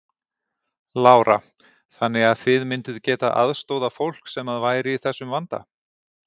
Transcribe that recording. Lára: Þannig að þið mynduð getað aðstoðað fólk sem að væri í þessum vanda?